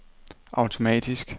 automatisk